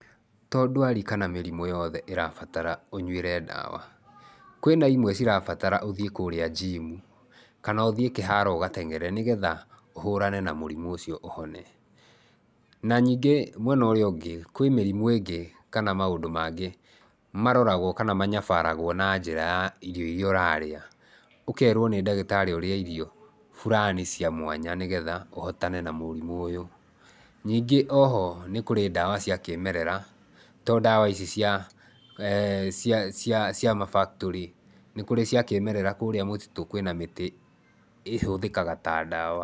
To ndwari kana mĩrimũ yothe ĩrabatara ũnyuĩre ndawa. Kwĩna imwe cirabatara ũthiĩ kũria njimu kana ũthiĩ kĩharo ũgateng'ere nĩgetha ũhũrane na mũrimũ ũcio, ũhone. Na ningĩ mwena ũrĩa ũngĩ, kwĩ mĩrimũ ĩngĩ kana maũndũ mangĩ maroragwo kana manyabaragwo na njĩra ya irio iria ũrarĩa. Ũkeerwo nĩ ndagĩtarĩ ũrĩe irio fulani cia mwanya nĩgetha ũhotane na mũrimũ ũyũ. Nyingĩ o ho, nĩ kũrĩ ndawa cia kĩĩmerera, to ndawa ici cia ma factory, nĩ kũrĩ cia kĩĩmerera, kũrĩa mũtitũ kwĩna mĩtĩ ĩhũthĩkaga ta ndawa.